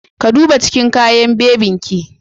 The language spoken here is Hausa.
Ka duba cikin kayan bebin ki.